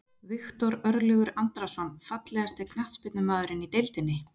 Viktor Örlygur Andrason Fallegasti knattspyrnumaðurinn í deildinni?